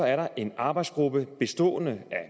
er der en arbejdsgruppe bestående af